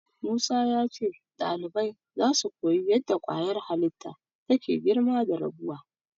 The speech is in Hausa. Musa ya ce ɗalibai zasu koyi yadda ƙwayar halitta take girma da rabuwa.